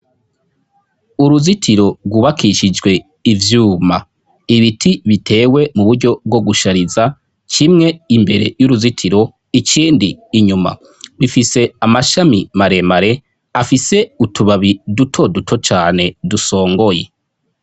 uruzitiro rwubakishijwe ivyuma ibiti bitewe mu buryo bwo gushariza kimwe imbere y'uruzitiro ikindi inyuma bifise amashami maremare afise utubabi duto duto cane dusongoye